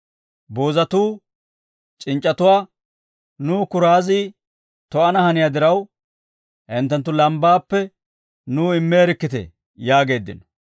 Boozatuu c'inc'c'atuwaa, ‹Nu kuraazi to'ana haniyaa diraw, hinttenttu lambbaappe nuw immeerikkitee› yaageeddino.